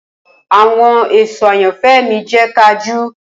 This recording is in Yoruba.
Awọn eso ayanfẹ mi jẹ kajú.